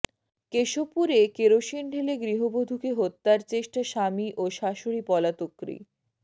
কেশবপুরে kerosene ঢেলে গৃহবধূকে হত্যার চেষ্টা স্বামী ও শাশুড়ী পলাতকৃ